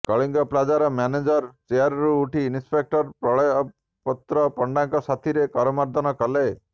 କଳିଙ୍ଗ ପିଜ୍ଜାର ମ୍ୟାନେଜର ଚେୟାରରୁ ଉଠି ଇନ୍ସପେକ୍ଟର ପ୍ରଳୟପୁତ୍ର ପଣ୍ଡାଙ୍କ ସାଥିରେ କରମର୍ଦ୍ଦନ କଲେ